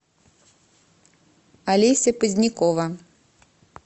олеся позднякова